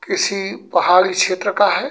किसी पहाड़ी क्षत्र का है।